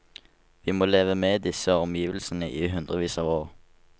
Vi må leve med disse omgivelsene i hundrevis av år.